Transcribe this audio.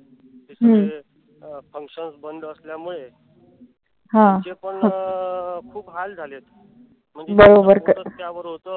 अं functions बंद असल्यामुळे त्यांचे पण खूप हाल झालेत. म्हणजे पोटच त्यावर होत.